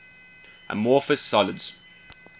amorphous solids